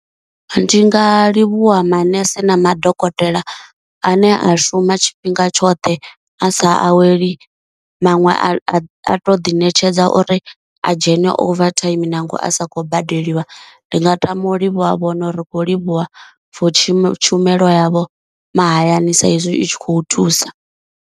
Ndi nga livhuwa maṋese na madokotela a ne a shuma tshifhinga tshoṱhe a sa aweli, maṅwe a a to ḓi ṋetshedza uri a dzhene over time nangwe a sakhou badeliwa, ndi nga tama u livhuwa vhone uri ri kho livhuwa for tshumelo tshumelo yavho mahayani sa izwi i tshi khou thusa.